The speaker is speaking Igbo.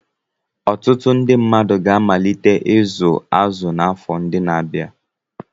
Ọtụtụ ndị mmadụ ga-amalite ịzụ azụ n'afọ ndị na-abịa.